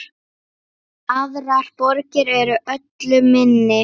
Aðrar borgir eru öllu minni.